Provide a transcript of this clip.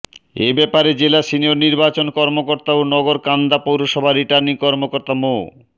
এ ব্যাপারে জেলা সিনিয়র নির্বাচন কর্মকর্তা ও নগরকান্দা পৌরসভার রিটার্নিং কর্মকর্তা মো